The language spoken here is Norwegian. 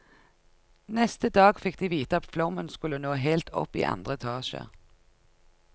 Neste dag fikk de vite at flommen skulle nå helt opp iandre etasje.